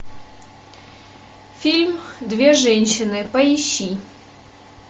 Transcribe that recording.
фильм две женщины поищи